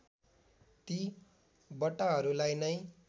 ती बट्टाहरूलाई नै